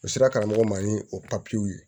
U sera karamɔgɔ ma ni o ye